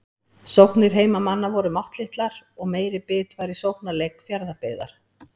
Sóknir heimamanna voru máttlitlar og meiri bit var í sóknarleik Fjarðabyggðar.